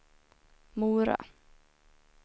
Mora